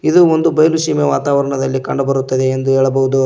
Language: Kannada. ಇದು ಒಂದು ಬಯಲು ಸೀಮೆ ವಾತಾವರ್ಣದಲ್ಲಿ ಕಂಡುಬರುತ್ತದೆ ಎಂದು ಹೇಳಬಹುದು.